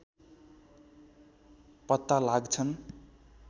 पत्ता लाग्छन्